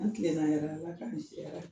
An tilenna yɛrɛ Ala k'an si hɛrɛ